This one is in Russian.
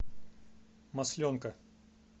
масленка